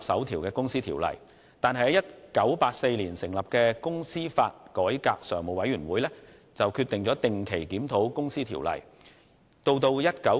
1984年成立的公司法改革常務委員會，決定定期對《公司條例》進行檢討。